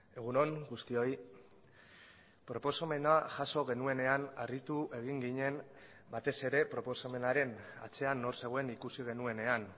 egun on guztioi proposamena jaso genuenean harritu egin ginen batez ere proposamenaren atzean nor zegoen ikusi genuenean